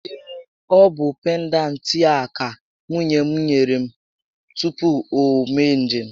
Ee, ọ bụ pendantị a ka nwunye m nyere m tupu o mee njem